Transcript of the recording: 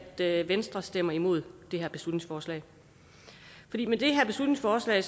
sige at venstre stemmer imod det her beslutningsforslag med det her beslutningsforslag